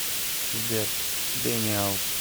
сбер дэниал